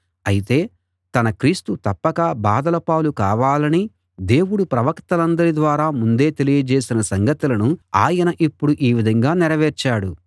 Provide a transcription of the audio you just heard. అయితే తన క్రీస్తు తప్పక బాధల పాలు కావాలని దేవుడు ప్రవక్తలందరి ద్వారా ముందే తెలియజేసిన సంగతులను ఆయన ఇప్పుడు ఈ విధంగా నెరవేర్చాడు